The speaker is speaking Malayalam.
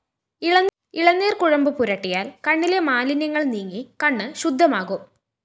ഇളനീര്‍ കുഴമ്പ് പുരട്ടിയാല്‍ കണ്ണിലെ മാലിന്യങ്ങള്‍ നീങ്ങി കണ്ണ് ശുദ്ധമാകും